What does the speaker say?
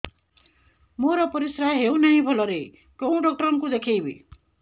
ମୋର ପରିଶ୍ରା ହଉନାହିଁ ଭଲରେ କୋଉ ଡକ୍ଟର କୁ ଦେଖେଇବି